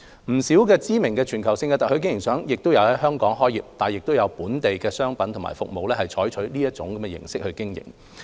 不少知名的全球性特許經營商也在香港開業，亦有本地的商品和服務採用這種模式經營。